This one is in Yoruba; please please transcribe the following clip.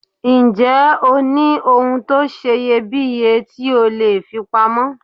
Ǹjẹ́ o ní ohun tó seye bíye tí o leè fi pa mọ́